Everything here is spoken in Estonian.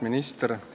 Minister!